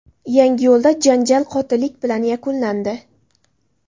Yangiyo‘lda janjal qotillik bilan yakunlandi.